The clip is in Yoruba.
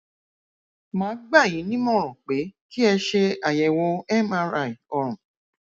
màá gbà yín nímọràn pé kí ẹ ṣe àyẹwò mri ọrùn